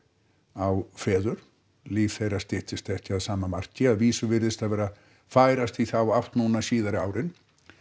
á feður líf þeirra styttist ekki að sama marki að vísu virðist það vera færast í þá átt núna síðari árin